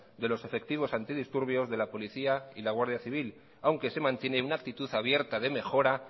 de los efectivos antidisturbios de la policía y la guardia civil aunque se mantiene una actitud abierta de mejora